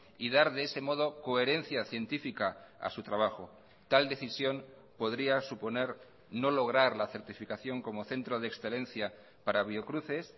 y dar de ese modo coherencia científica a su trabajo tal decisión podría suponer no lograr la certificación como centro de excelencia para biocruces